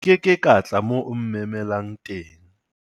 nke ke ka tla moo o mmemelang teng